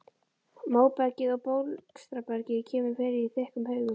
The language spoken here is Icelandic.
Móbergið og bólstrabergið kemur fyrir í þykkum haugum.